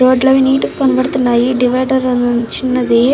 Road లు అవి neat గా కనపడ్తున్నాయి. డివైడర్ అవి చిన్నది.